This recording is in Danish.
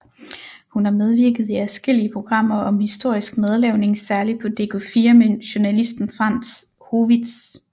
Hun har medvirket i adskillige programmer om historisk madlavning særligt på dk4 med journalisten Frantz Howitz